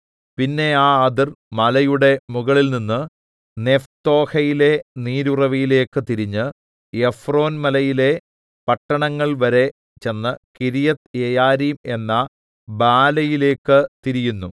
പിന്നെ ആ അതിർ മലയുടെ മുകളിൽനിന്ന് നെപ്തോഹയിലെ നീരുറവിലേക്ക് തിരിഞ്ഞ് എഫ്രോൻമലയിലെ പട്ടണങ്ങൾവരെ ചെന്ന് കിര്യത്ത്യെയാരീം എന്ന ബാലയിലേക്ക് തിരിയുന്നു